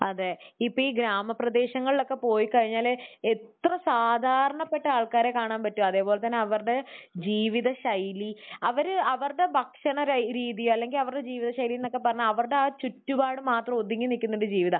അതെ. ഇപ്പോൾ ഈ ഗ്രാമപ്രദേശങ്ങളിലൊക്കെ പോയിക്കഴിഞ്ഞാൽ എത്ര സാധാരണപ്പെട്ട ആൾക്കാരെ കാണാൻ പറ്റും. അതുപോലെ തന്നെ അവരുടെ ജീവിതശൈലി. അവര് അവരുടെ ഭക്ഷണരീതി അല്ലെങ്കിൽ അവരുടെ ജീവിതശൈലി എന്നൊക്കെ പറഞ്ഞാൽ അവരുടെ ആ ചുറ്റുപാടും മാത്രം ഒതുങ്ങി നിൽക്കുന്ന ഒരു ജീവിതമാണ്.